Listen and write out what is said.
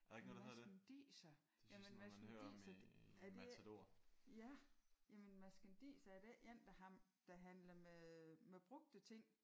Marskandiser? Jamen marskandiser er det ikke. Ja jamen marskandiser er det ikke en der der handler med med brugte ting?